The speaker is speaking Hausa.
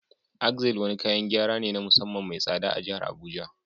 Axle wani kayan gyara ne na musamman mai tsada a jihar Abuja